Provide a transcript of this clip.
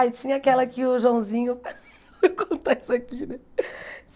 Ah, tinha aquela que o Joãozinho... Vou contar isso aqui, né?